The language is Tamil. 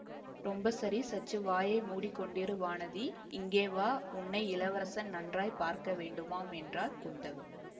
ரொம்ப சரி சற்று வாயை மூடிக்கொண்டிரு வானதி இங்கே வா உன்னை இளவரசன் நன்றாய் பார்க்க வேண்டுமாம் என்றாள் குந்தவை